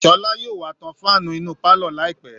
Sọ́lá yóò wá tan fáànù inú pálọ̀ láìpẹ́